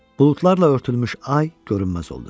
Buludlarla örtülmüş ay görünməz oldu.